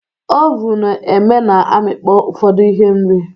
Ovun eme na amịkpọ ufodu ihe oriri